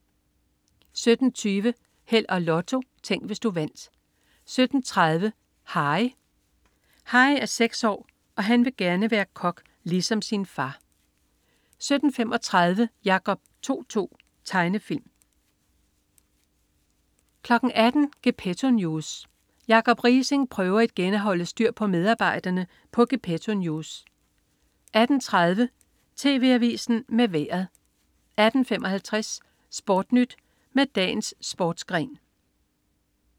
17.20 Held og Lotto. Tænk, hvis du vandt 17.30 Harry. Harry er seks år og vil være kok ligesom sin far 17.35 Jacob To-To. Tegnefilm 18.00 Gepetto News. Jacob Riising prøver igen at holde styr på medarbejderne på Gepetto News 18.30 TV Avisen med Vejret 18.55 SportNyt med dagens sportsgren